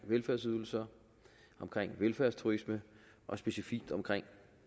velfærdsydelser om velfærdsturisme og specifikt om